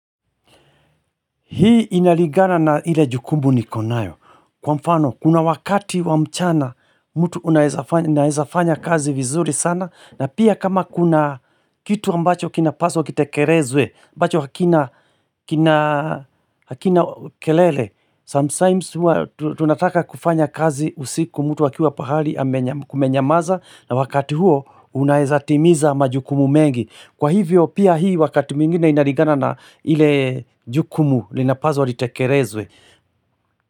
Hii inaligana na ile jukumu niko nayo. Kwa mfano, kuna wakati wa mchana, mtu unaezafanya kazi vizuri sana, na pia kama kuna kitu ambacho kinapaswa, kitekelezwe, ambacho kina hakina kelele, sometimes tunataka kufanya kazi usiku, mtu akiwa pahali kumenyamaza, na wakati huo unaeza timiza majukumu mengi. Kwa hivyo pia hii wakati mwingine inalingana na ile jukumu linapaswa litekelezwe.